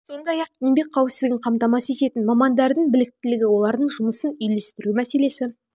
оқиғаға апарып соғатынын ескертті сондай-ақ еңбек қауіпсіздігін қамтамасыз ететін мамандардың біліктілігі олардың жұмысын үйлестіру мәселесі